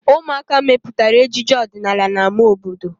Ụmụaka mepụtara ejije ọdịnala na ámá obodo.